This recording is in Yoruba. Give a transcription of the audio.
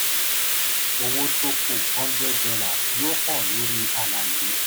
owó tó kù $100 yóò hàn lórí àlàyé.